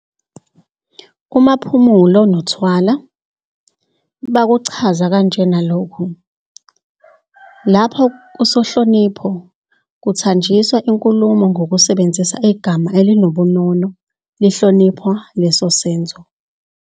UMaphumulo noThwala bakuchaza kanjena lokhu, "Lapha kusihlonipho kuthanjiswa inkulumo ngokusebenzisa igama elinobunono, lihlonipha leso senzo.